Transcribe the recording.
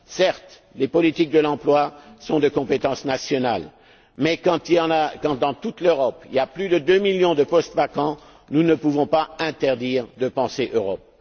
Certes, les politiques de l'emploi relèvent de la compétence nationale mais quand, dans toute l'Europe, il y a plus de deux millions de postes vacants, nous ne pouvons pas interdire de penser Europe.